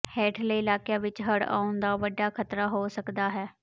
ਹੇਠਲੇ ਇਲਾਕਿਆਂ ਵਿੱਚ ਹੜ੍ਹ ਆਉਣ ਦਾ ਵੱਡਾ ਖ਼ਤਰਾ ਹੋ ਸਕਦਾ ਹੈ